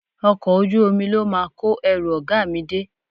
Ọkọ̀ ojú omi ló máa kó ẹrù ọ̀gá mi dé